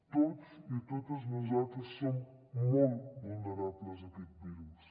tots i totes nosaltres som molt vulnerables a aquest virus